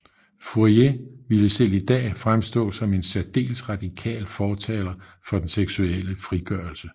Fourier ville selv i dag fremstå som en særdeles radikal fortaler for den seksuelle frigørelse